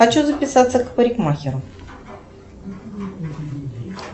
хочу записаться к парикмахеру